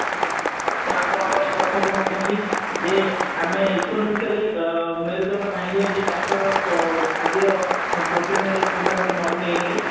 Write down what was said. ତ ଆପଣଙ୍କର ଏଇ କଥା ବି ମଧ୍ୟ ଠିକ ଯେ ଆମେ economically ଅ ମେରୁଦଣ୍ଡ ଭାଙ୍ଗି ଯାଉଛି ଚାଷର ଅ ଆଜିର problem ହେଲେ କିମ୍ବା ଗୋଟେ ମରୁଡି ହେଇଗଲେ